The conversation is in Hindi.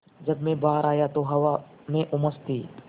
जब मैं बाहर आया तो हवा में उमस थी